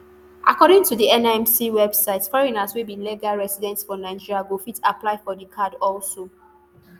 according to di nimc website foreigners wey be legal resident for nigeria go fit apply for di card also